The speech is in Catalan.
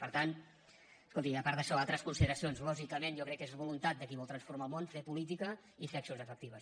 per tant escolti’m a part d’això altres consideracions lògicament jo crec que és voluntat de qui vol transformar el món fer política i fer accions efectives